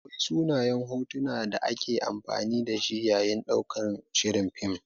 Akwai sunayen hotuna da ake amfani da shi yayin ɗaukan shirin fim.